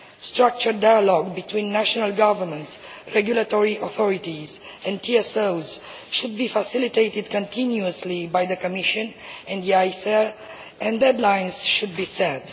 Structured dialogue between national governments, regulatory authorities and TSOs should be facilitated continuously by the Commission and ACER, and deadlines should be set.